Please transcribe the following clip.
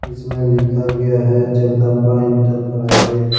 इसमें लिखा गया है जगदंबा इंटरप्राइजेज ।